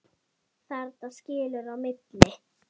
Þarna skilur á milli.